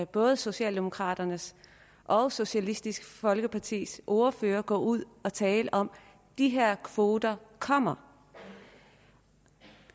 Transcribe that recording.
både socialdemokraternes og socialistisk folkepartis ordførere gå ud og tale om at de her kvoter kommer